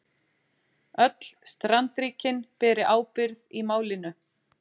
Öll strandríkin beri ábyrgð í málinu